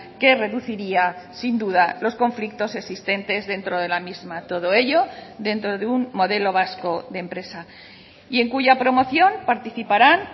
que reduciría sin duda los conflictos existentes dentro de la misma todo ello dentro de un modelo vasco de empresa y en cuya promoción participarán